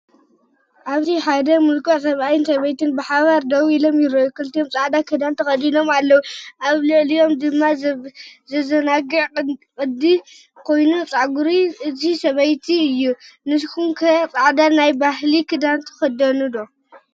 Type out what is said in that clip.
ኣብዚ ሓደ ምልኩዕ ሰብኣይን ሰበይትን ብሓባር ደው ኢሎም ይረኣዩ። ክልቲኦም ጻዕዳ ክዳን ተኸዲኖም ኣለዉ፡ ኣብ ልዕሊኦም ድማ ዘዘናግዕ ቅዲ ዘለዎ ኮይኑ፡ ጸጕሪ እታ ሰበይቲ እዩ። ንስኩም ከ ፃዕዳ ናይ ባህሊ ክዳን ትክደኑ ዶ?